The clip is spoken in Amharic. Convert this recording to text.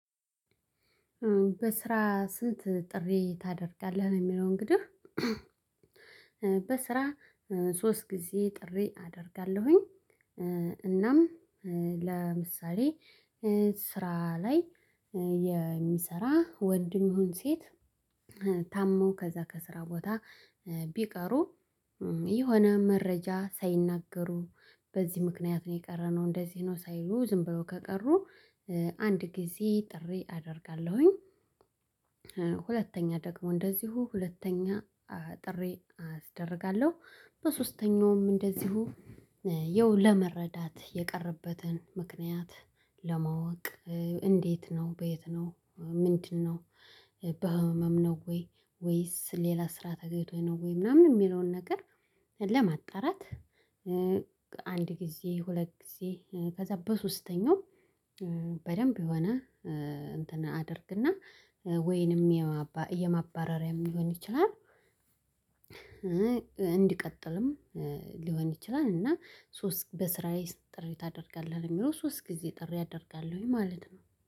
በስራ ስንት ጥሪ ታደርጋለህ የሚለው? እንግዲህ በስራ ሶስት ጊዜ ጥሪ አደርጋለሁኝ። እናም ለምሳሌ ስራ ላይ የሚሰራ ወንድም ይሁን ሴት። ታመው ከዛ ከስራ ቦታ ቢቀሩ የሆነ መረጃ ሳይናገሩ በዚህ ምክንያት ነው የቀረነው እንደዚህ ነው ሳይሉ ዝም በው ከቀሩ አንድ ጊዜ ጥሪ አደርጋለሁኝ። ሁለተኛ ደግሞ እንደዚሁ ሁለተኛ ጥሬ አደርጋለሁ በሶስተኛውም እንደዚሁ ይኸው ለመረዳት የቀረበትን ምክንያት ለማወቅ እንዴት ነው በየት ነው ምንድነው? በህመም ነው ወይ ወይስ ሌላ ስራ ተገይቶኝ ነው ወይ ምናምን የሚለውን ነገር ለማጣራት። አንድ ጊዜ ሁለት ጊዜ ከዛ በሶስተኛው በደንብ የሆነ እንትን ወይንም የማባረሪያም ሊሆን ይችላል። እንዲቀጥልም ሊሆን ይችላል እና ሶስት በስራዬ ጥሪ ታደርጋለህ የሚለው ሶስት ጊዜ ጥሪ አደርጋለሁኝ ማለት ነው